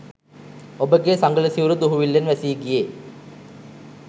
ඔබගේ සඟල සිවුර දුහුවිල්ලෙන් වැසී ගියේ